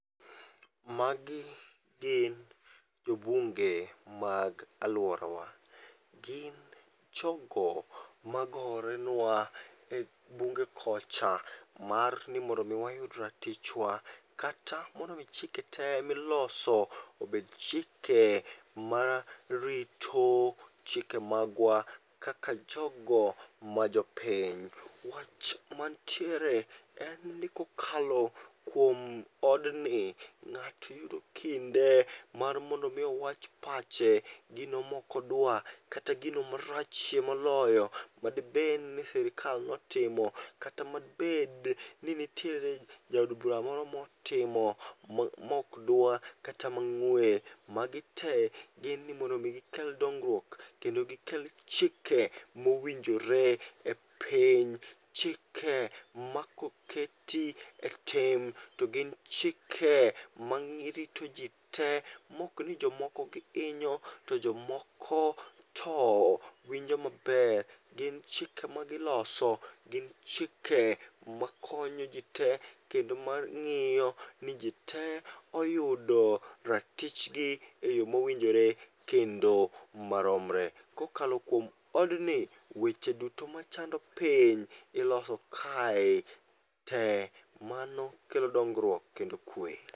Magi gin jo bunge mag alworawa. Gin jogo magore nwa e bunge koch mar ni mondomi wayud ratichwa kata mondomi chike te miloso obed chike marito chike magwa kaka jogo majopiny. Wach mantiere en ni kokalo kuom odni ng'at iyudo kinde mar mondo mi owach pache. Gino mokodwa kata gino marachie moloyo madibed ni sirikal notimo kata madibed ni nitiere jaod bura moro motimo mok dwa kata mang'we. Magi te gin ni mondo mi gikel dongruok kendo gikel chike mowinjore e piny. Chike ma koketi e tim, to gin chike marito ji te mokni jomoko gihinyo to jomoko to winjo maber. Gin chike magiloso gin chike makonyo ji te kendo mang'iyo ni ji te oyudo ratichgi e yo mowinjore kendo maromre. Kokalo kuom odni, weche duto machando piny iloso kae te, mano kelo dongruok kod kwe.